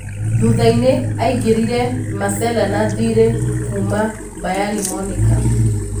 Thuthainĩ aingĩrire Masela na thiirĩ kuna Bayani Monika.